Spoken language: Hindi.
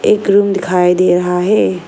एक रूम दिखाई दे रहा है।